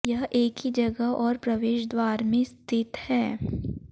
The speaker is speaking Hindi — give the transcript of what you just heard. यह एक ही जगह और प्रवेश द्वार में स्थित है